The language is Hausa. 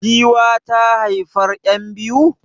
Giwa ta haifar yan biyu?